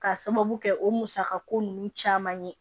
K'a sababu kɛ o musaka ko ninnu caman ye